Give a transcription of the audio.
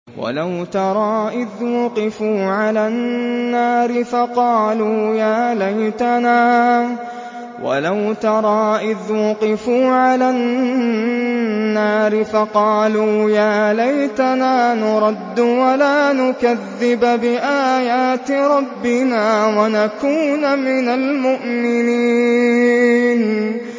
وَلَوْ تَرَىٰ إِذْ وُقِفُوا عَلَى النَّارِ فَقَالُوا يَا لَيْتَنَا نُرَدُّ وَلَا نُكَذِّبَ بِآيَاتِ رَبِّنَا وَنَكُونَ مِنَ الْمُؤْمِنِينَ